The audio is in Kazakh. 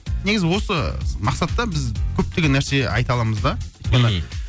негіз осы мақсатта біз көптеген нәрсе айта аламыз да өйткені мхм